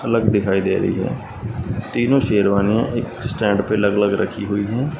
अलग दिखाई दे रही है तीनों शेरवानिया एक स्टैंड पे अलग अलग रखी हुई है।